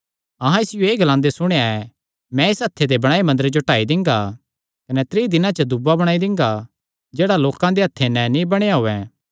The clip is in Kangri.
अहां इसियो एह़ ग्लांदे सुणेया ऐ मैं इस हत्थे दे बणायो मंदरे जो ढाई दिंगा कने त्रीं दिनां च दूआ बणाई दिंगा जेह्ड़ा हत्थे नैं नीं बणया होयैं